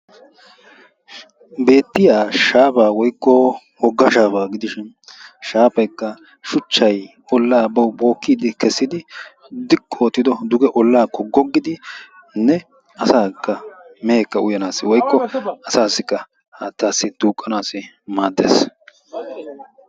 Beettiya shaafaa woykko wogga shaafaa gidishin shaafaykka shuchchaa ollaa bawu bookkiyddi kessidi ziqqi oottidi kessido duge ollaakko goggiyanne asaakka meheekka uyaanaayyo woykko asaassikka haattaa duuqqanaassi maaddees.